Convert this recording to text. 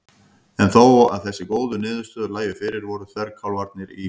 En þó að þessar góðu niðurstöður lægju fyrir voru þverkálfarnir í